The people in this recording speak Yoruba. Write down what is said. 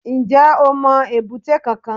N jẹ́ o mo èbúté kankan